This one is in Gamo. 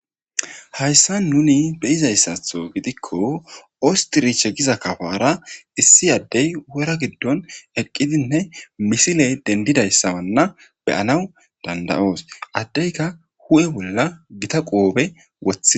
Hayssan nuni beyizaysatho gidiko wostiriche giza kapora issi adey wora gideon eqidane missile dendanaysa be, anaw danda, os adeyka huphe bolla qobe wothides